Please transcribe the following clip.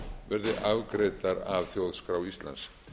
verði afgreiddar af þjóðskrá íslands